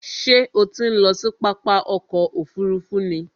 Ṣé o ti ń lọ sí pápá ọkò òfurufú ni?